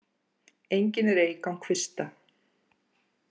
Engin er eik án kvista.